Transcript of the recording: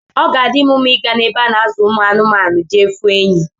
Oga adim mma iga na ebe ana azu anụmaụ jee fụ enyi